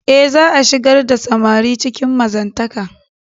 E, za'a shigar da samari cikin mazantaka.